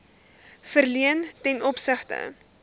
verleen ten opsigte